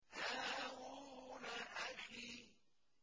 هَارُونَ أَخِي